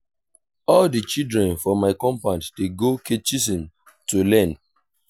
all di children for my compound dey go catechism to learn.